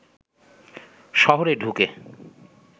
শহরে ঢুকে